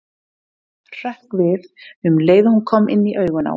Hrökk við um leið og hún kom inn í augun á honum.